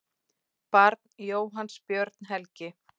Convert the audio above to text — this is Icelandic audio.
Barn Jóhanns Björn Helgi.